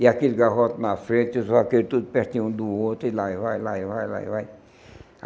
E aquele garroto na frente, os vaqueiros tudo pertinho um do outro, e lá e vai, lá e vai, lá e vai.